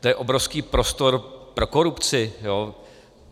To je obrovský prostor pro korupci.